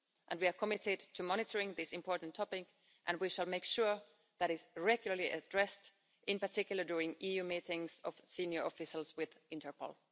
We are committed to monitoring this important topic and we shall make sure that it is regularly addressed, in particular during EU meetings of senior officials with Interpol.